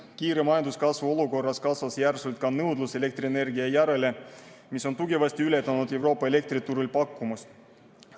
Kiire majanduskasvu olukorras kasvas järsult ka nõudlus elektrienergia järele, mis on tugevasti ületanud Euroopa elektriturul olevat pakkumist.